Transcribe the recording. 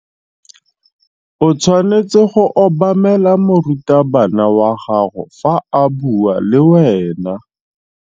O tshwanetse go obamela morutabana wa gago fa a bua le wena.